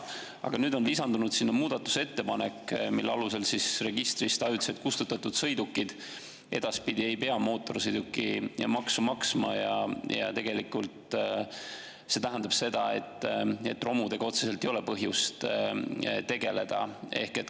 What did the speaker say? Aga nüüd on lisandunud muudatusettepanek, mille alusel registrist ajutiselt kustutatud sõidukite pealt edaspidi ei pea mootorsõidukimaksu maksma, ja see tähendab seda, et romudega otseselt ei ole põhjust tegeleda.